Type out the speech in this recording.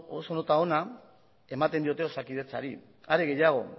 oso nota ona ematen diote osakidetzari are gehiago